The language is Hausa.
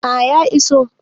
A ya iso